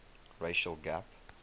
racial gap